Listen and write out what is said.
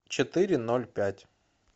четыре ноль пять